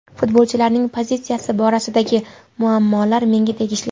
Futbolchilarning pozitsiyasi borasidagi muammolar menga tegishli.